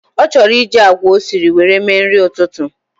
O choro iji agwa osiri were mee nrï ütütü